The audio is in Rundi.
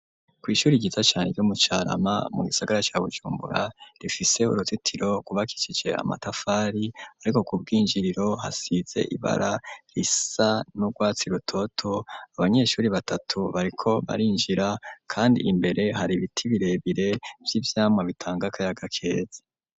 Kw'ishuri ryiza cane ryo mu Carama mu gisagara ca Bujumbura, rifise uruzitiro gwubakishije amatafari ,ariko ku bw'injiriro hasize ibara risa n'urwatsi rutoto ,abanyeshuri batatu bariko barinjira ,kandi imbere hari ibiti birebire vy'ivyamwa bitanga akayaga keza.